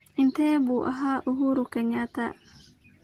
intee buu ahaa uhuru kenyatta